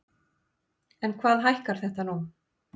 En hvað hækkar þetta nú?